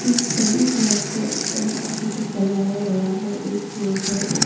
इस सभी ग्लास को बहोत अच्छे से सजाया गया है एक के ऊपर एक।